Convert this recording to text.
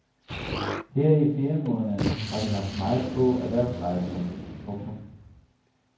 Her i feriemåneden har vi haft meget få erhvervsrejsende. punktum